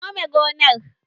Ka nome gonar?